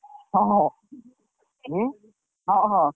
ହଁ ହଁ ହଁ ହଁ।